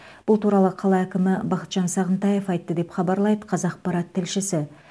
бұл туралы қала әкімі бақытжан сағынтаев айтты деп хабарлайды қазақпарат тілшісі